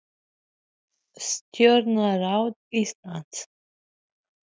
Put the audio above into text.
Hvað get ég gert fyrir yður? spurði lögreglustjóri.